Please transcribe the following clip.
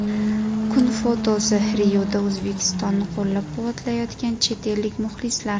Kun fotosi: Rioda O‘zbekistonni qo‘llab-quvvatlayotgan chet ellik muxlislar.